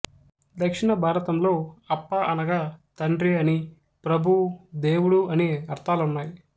దక్షిణ భారతంలో అప్ప అనగా తండ్రి అనీ ప్రభువు దేవుడు అనీ అర్థాలున్నాయి